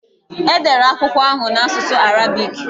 E dere akwụkwọ ahụ n'asụsụ Arabiki.